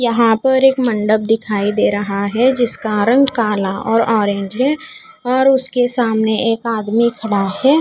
यहां पर एक मंडप दिखाई दे रहा है जिसका रंग काला और ऑरेंज है और उसके सामने एक आदमी खड़ा है।